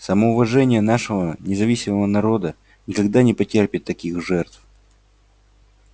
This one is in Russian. самоуважение нашего независимого народа никогда не потерпит таких жертв